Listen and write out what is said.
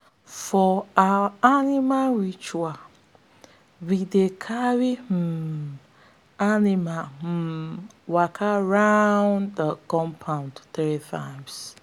for our animal ritual we dey carry the um animal um waka round the compound three times.